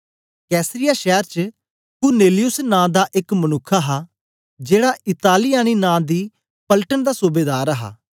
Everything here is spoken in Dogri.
कैसरिया शैर च कुरनेलियुस नां दा एक मनुक्ख हा जेड़ा इतालियानी नां दी पलटन दा सूबेदार हा